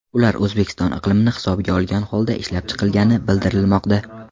Ular O‘zbekiston iqlimini hisobga olgan holda ishlab chiqilgani bildirilmoqda.